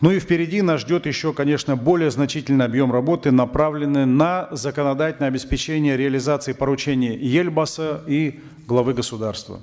ну и впереди нас ждет еще конечно более значительный объем работы направленный на законодательное обеспечение реализации поручения елбасы и главы государства